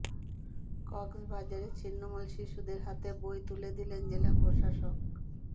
কক্সবাজারে ছিন্নমূল শিশুদের হাতে বই তুলে দিলেন জেলা প্রশাসক